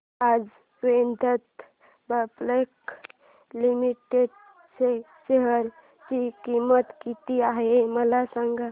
आज Vedanta public limited च्या share ची किंमत किती आहे मला सांगा